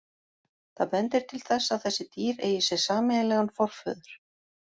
Það bendir til þess að þessi dýr eigi sér sameiginlegan forföður.